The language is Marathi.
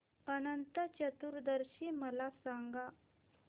अनंत चतुर्दशी मला सांगा